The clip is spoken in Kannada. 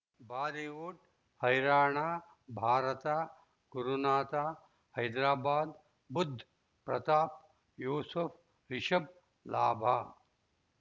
ಬಾಲಿವುಡ್ ಹೈರಾಣ ಭಾರತ ಗುರುನಾಥ ಹೈದರಾಬಾದ್ ಬುಧ್ ಪ್ರತಾಪ್ ಯೂಸುಫ್ ರಿಷಬ್ ಲಾಭ